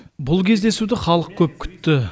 бұл кездесуді халық көп күтті